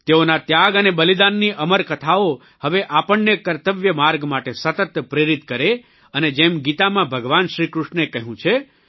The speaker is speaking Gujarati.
તેઓના ત્યાગ અને બલિદાનની અમરકથાઓ હવે આપણને કર્તવ્ય માર્ગ માટે સતત પ્રેરિત કરે અને જેમ ગીતામાં ભગવાન શ્રીકૃષ્ણે કહ્યું છે